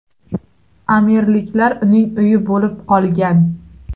Amirliklar uning uyi bo‘lib qolgan.